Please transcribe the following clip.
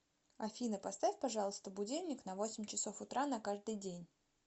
афина поставь пожалуйста будильник на восемь часов утра на каждый день